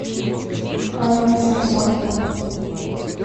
анна самсонова